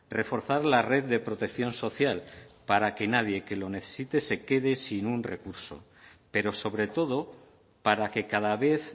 reforzar la red de protección social para que nadie que lo necesite se quede sin un recurso pero sobre todo para que cada vez